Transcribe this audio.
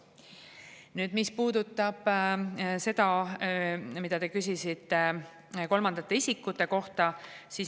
Nüüd, mis puudutab seda, mida te küsisite kolmandate isikute kohta.